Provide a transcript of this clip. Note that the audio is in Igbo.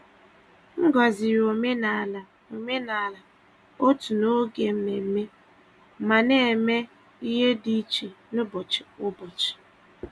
M gọ̀zìrì omenala omenala òtù n’oge mmemme, ma na-eme ihe dị iche n’ụbọchị kwa ụbọchị.